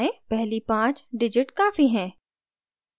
पहली पाँच digits काफी हैं